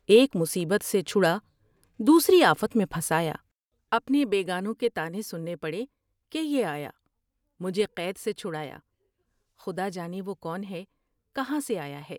ایک مصیبت سے چھڑا دوسری آفت میں پھنسایا۔ اپنے بیگانوں کے طعنے سننے پڑے کہ یہ آیا ، مجھے قید سے چھٹرایا ، خدا جانے وہ کون ہے ، کہاں سے آیا ہے ۔